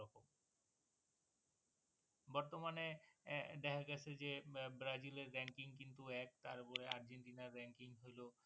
বর্তমানে দেখা গেছে যে ব্রাজিলের ranking কিন্তু এক তার উপরে আর্জেন্টিনার ranking হলো